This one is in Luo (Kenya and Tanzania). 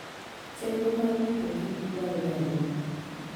Chenro mar rito kich dwarore ahinya.